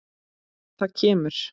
Það kemur.